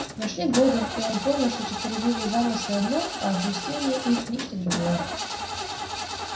но шли годы и он понял что честолюбивые замыслы одно а осуществление их нечто другое